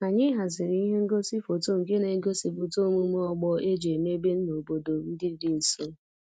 Anyị haziri ihe ngosi foto nke na-egosipụta omume ọgbọ e ji emebe n'obodo ndị dị nso